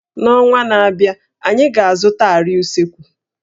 N'ọnwa na-abịa, anyị ga-azụta àrịá usekwu